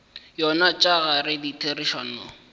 yona tša ka gare ditherišano